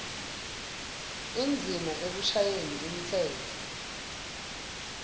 indzima ekushayeni umtsetfo